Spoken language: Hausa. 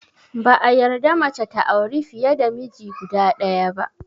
Ba a yarda mace ta auri fiye da miji guda ɗaya ba